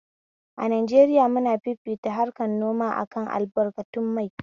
A Najeriya muna fifita harkan noma akan albarkatun mai